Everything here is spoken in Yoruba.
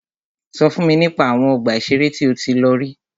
Sọ fún mi nípa àwọn ọgbà ìṣẹ̀rẹ́ tí o tí lọ rí.